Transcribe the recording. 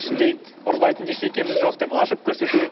ішінде ұрлайтын ештеңкеміз жоқ деп ашып көрсету